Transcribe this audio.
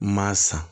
Maa san